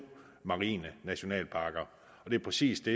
marine nationalparker det er præcis det